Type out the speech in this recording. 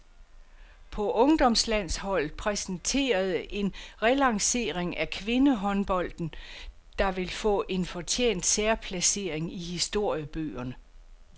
På ungdomslandsholdet præsenterede en relancering af kvindehåndbolden, der vil få en fortjent særplacering i historiebøgerne.